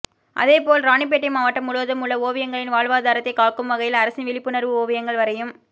அதே போல் ராணிப்பேட்டை மாவட்டம் முழுவதும் உள்ள ஓவியா்களின் வாழ்வாதாரத்தை காக்கும் வகையில் அரசின் விழிப்புணா்வு ஓவியங்கள் வரையும்